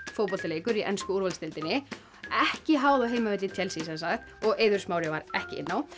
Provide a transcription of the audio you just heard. fótboltaleikur í ensku úrvalsdeildinni ekki háð á heimavelli Chelsea og Eiður Smári var ekki inn á